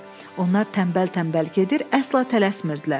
Onlar tənbəl-tənbəl gedir, əsla tələsmirdilər.